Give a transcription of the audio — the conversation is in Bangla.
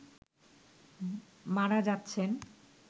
মারা যাচ্ছেন